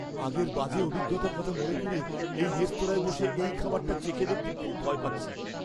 আগের বাজে অভিজ্ঞতার কথা মনে করে এই রেস্তোরাঁয় বসে এই খাবারটা চেখে দেখতে খুব ভয় পাচ্ছি।